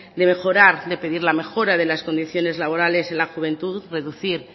de mejorar de pedir la mejora de las condiciones laborales en la juventud reducir